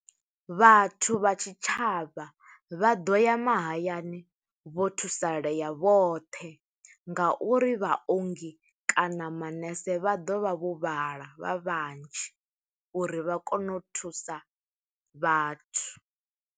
Vhathu vha tshitshavha, vha ḓo ya mahayani vho thusalea vhoṱhe nga uri vhaongi kana manese vha ḓovha vho vhala, vha vhanzhi uri vha kone u thusa vhathu.